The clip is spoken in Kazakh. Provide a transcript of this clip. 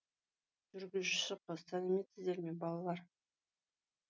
жүргізуші қыз сәлеметсіздер ме балалар